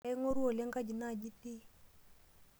Aing'orua oleng kaji naaji itii?